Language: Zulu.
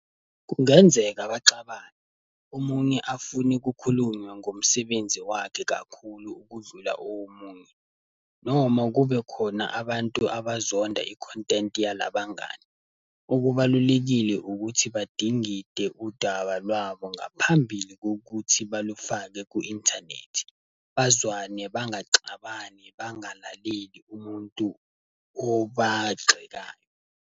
Kungenzeka baxabane, omunye afune kukhulunywa ngomsebenzi wakhe kakhulu ukudlula omunye. Noma kube khona abantu abazonda i-content yalabangani. Okubalulekile ukuthi badingide udaba lwabo ngaphambili kokuthi balufake ku-inthanethi. Bazwane, bangaxabani, bangalaleli umuntu obagxekayo.